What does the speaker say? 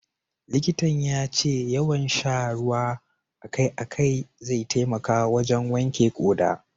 Likitan ya ce yawan sha ruwa a kai a kai zai taimaka wajen wanke ƙoda.